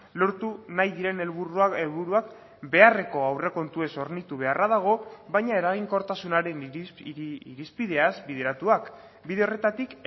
lortu nahi diren helburuak beharreko aurrekontuez hornitu beharra dago baina eraginkortasunaren irizpideaz bideratuak bide horretatik